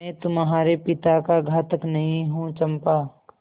मैं तुम्हारे पिता का घातक नहीं हूँ चंपा